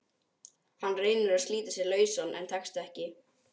Hann reynir að slíta sig lausan en tekst ekki.